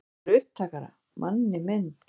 Sagðirðu upptakara, manni minn?